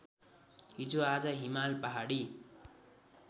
हिजोआज हिमाल पहाडी